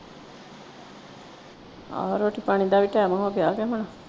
ਆਹੋ ਰੋਟੀ ਪਾਣੀ ਦਾ ਵੀ time ਹੋਗਿਆ ਕੇ ਹੁਣ।